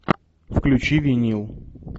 включи винил